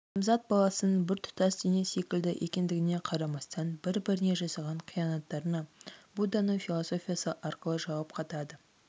адамзат баласының бір тұтас дене секілді екендігіне қарамастан бір-біріне жасаған қиянаттарына будданың философиясы арқылы жауап қатады